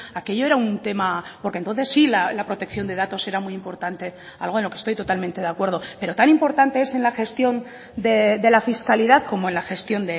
aquello era un tema porque entonces sí la protección de datos era muy importante algo en lo que estoy totalmente de acuerdo pero tan importante es en la gestión de la fiscalidad como en la gestión